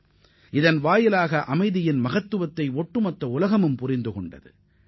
இதுதான் ஒட்டுமொத்த உலகமும் அமைதியின் மகத்துவத்தை உணரச் செய்தது